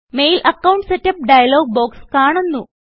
mail account setup dialog box കാണുന്നു